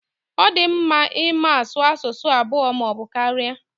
Ọ di mmadụ ịma asụ asụsụ abụọ maọbụ karịa.